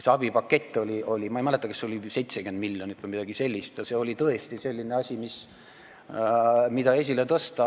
See abipakett oli, ma ei mäleta, kas 70 miljonit või midagi sellist ja see oli tõesti selline asi, mida esile tõsta.